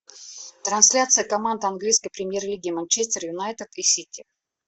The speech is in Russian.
трансляция команд английской премьер лиги манчестер юнайтед и сити